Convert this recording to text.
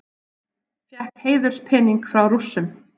Fékk heiðurspening frá Rússum